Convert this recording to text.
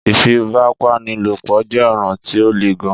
Ìfípábánilòpõ jé ọ̀ràn tí o lè gàn.